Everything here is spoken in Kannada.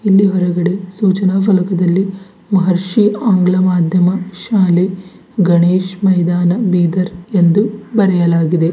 ಇಲ್ಲಿ ಹೊರಗಡೆ ಸೂಚನಾ ಫಲಕದಲ್ಲಿ ಮಹರ್ಷಿ ಆಂಗ್ಲ ಮಾದ್ಯಮ ಶಾಲೆ ಗಣೇಶ ಮೈದಾನ ಬೀದರ್ ಎಂದು ಬರೆಯಲಾಗಿದೆ.